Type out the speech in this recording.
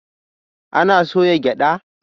Ana soya gyada?